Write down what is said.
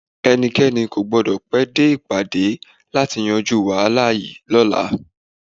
Ẹnikẹ́ni kò gbọ́dọ̀ pẹ́ dé ìpàdé láti yanjú wàhálà yìí lọ́la!